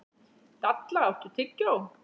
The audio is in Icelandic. Dalla, áttu tyggjó?